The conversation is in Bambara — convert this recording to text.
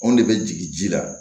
Anw de bɛ jigin ji la